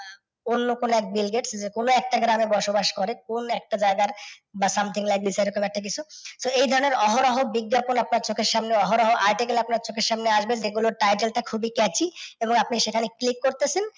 অন্য কোন এক Bill Gates কোনও একটা গ্রামে বসবাস করে, কোন একটা জায়গার বা something like ঐ রকম একটা কিছু। তো এই ধরণের অহরহ বিজ্ঞাপন আপনার চোখের সামনে, অহরহ article আপনার চোখের সামনে আসবে যেগুলোর title টা খুবই cachy এবং আপনি সেখানে click করতেছেন,